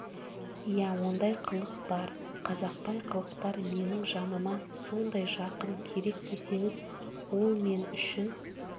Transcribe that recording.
иә ондай қылық бар қазақбай қылықтар менің жаныма сондай жақын керек десеңіз ол мен үшін